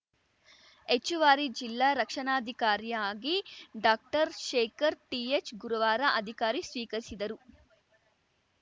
ಹೆಚ್ಚುವರಿ ಜಿಲ್ಲಾ ರಕ್ಷಣಾಧಿಕಾರಿಯಾಗಿ ಡಾಕ್ಟರ್ ಶೇಖರ್‌ ಟಿ ಎಚ್‌ ಗುರುವಾರ ಅಧಿಕಾರಿ ಸ್ವೀಕರಿಸಿದರು